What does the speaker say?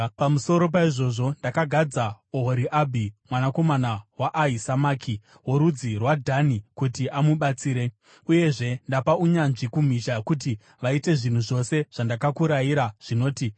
Pamusoro paizvozvo ndakagadza Ohoriabhi mwanakomana waAhisamaki, worudzi rwaDhani, kuti amubatsire. “Uyezve ndapa unyanzvi kumhizha kuti vaite zvinhu zvose zvandakakurayira zvinoti: